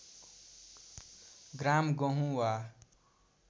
ग्राम गहुँ वा